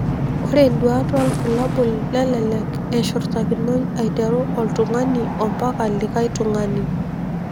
Ore nduat wobulabul lelelek eshurtakinoi aiteru oltungani ompaka likae tungani.